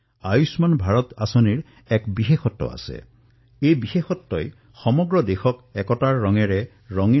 আয়ুষ্মান ভাৰত যোজনাত পৰ্টেবিলিটী এক বিশেষ বৈশিষ্ট হিচাপে বিবেচিত হৈছে